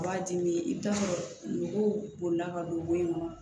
B'a dimi i bɛ t'a sɔrɔ mɔgɔw bolila ka don bɔn in kɔnɔ